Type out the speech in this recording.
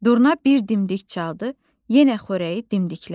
Durna bir dimdik çaldı, yenə xörəyi dimdiklədi.